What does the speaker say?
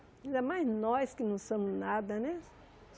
Ainda mais nós que não somos nada, né?